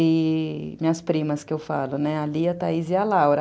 e minhas primas, que eu falo, a Lia, a Thaís e a Laura.